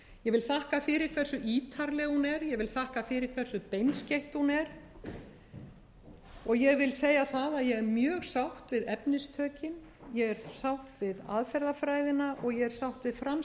vil þakka fyrir hversu ítarleg hún er ég vil þakka fyrir hversu beinskeytt hún er og ég vil segja það að ég er mjög sátt við efnistökin ég er sátt við aðferðafræðina og ég er sátt við